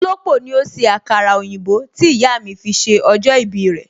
Olópò ni ó ṣe àkàrà òyìnbó tí ìyà mi fi ṣe ọjọ́ ìbí rẹ